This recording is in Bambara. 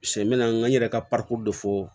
Sɛ n bɛna n yɛrɛ ka de fɔ